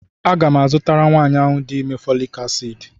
A ga-mu azụtara nwaanyi ahụ di ime fọọlịc aciidị.